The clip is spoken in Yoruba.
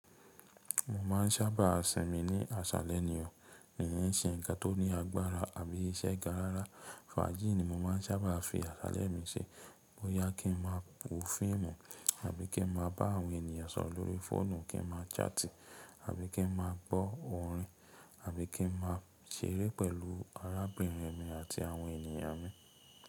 Mo ma n sábà sìn mí ní àsálẹ́ ni ọ̀. Kìí ṣe nǹkan tó ní agbára àbí iṣẹ́ ga rárá. Fájì ni mo ma n sábà fi àsálẹ́ mi ṣe bóyá kí n máa wo fíìmù àbí kí n máa bá àwọn ènìyàn sọ̀rọ̀ lórí fóònù, kí n máa ṣáàtì àbí kí n máa gbọ́ orin àbí kí n máa ṣeré pẹ̀lú arábìnrin mi àti àwọn ènìyàn mi.